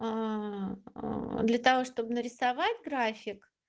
для того чтобы нарисовать график